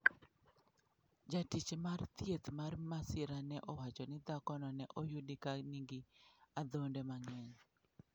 Jatich mar thieth mar masira ne owacho ni dhakono ne oyudi ka nigi adhonde mang'eny.